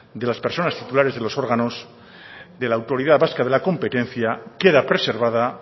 de las personas titulares de los órganos de la autoridad vasca de la competencia queda preservada